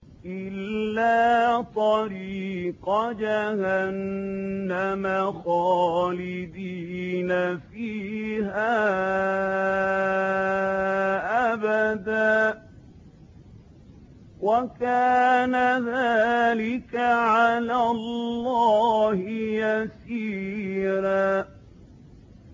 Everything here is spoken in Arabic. إِلَّا طَرِيقَ جَهَنَّمَ خَالِدِينَ فِيهَا أَبَدًا ۚ وَكَانَ ذَٰلِكَ عَلَى اللَّهِ يَسِيرًا